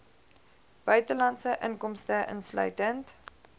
buitelandse inkomste insluitend